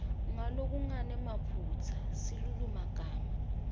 ngalokungenamaphutsa silulumagama